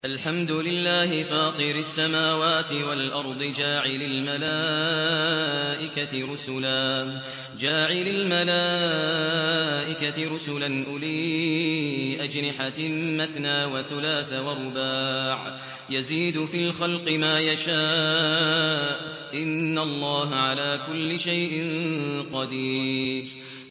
الْحَمْدُ لِلَّهِ فَاطِرِ السَّمَاوَاتِ وَالْأَرْضِ جَاعِلِ الْمَلَائِكَةِ رُسُلًا أُولِي أَجْنِحَةٍ مَّثْنَىٰ وَثُلَاثَ وَرُبَاعَ ۚ يَزِيدُ فِي الْخَلْقِ مَا يَشَاءُ ۚ إِنَّ اللَّهَ عَلَىٰ كُلِّ شَيْءٍ قَدِيرٌ